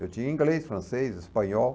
Eu tinha inglês, francês, espanhol.